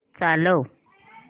चालव